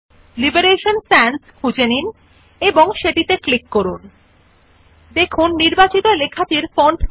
আপনি font drop down menu খুলুন নাম অপশন বিভিন্ন ধরণের দেখুন You see a wide variety of font নামে options in the drop down menu